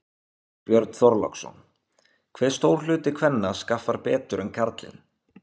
Björn Þorláksson: Hve stór hluti kvenna skaffar betur en karlinn?